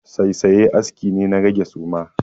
Saisaye aski ne na rage suma.